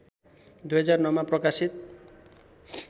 २००९ मा प्रकाशित